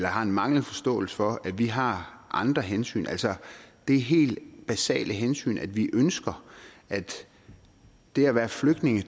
har en manglende forståelse for at vi har andre hensyn altså det helt basale hensyn at vi ønsker at det at være flygtninge